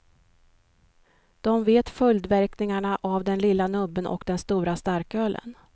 De vet följdverkningarna av den lilla nubben och den stora starkölen.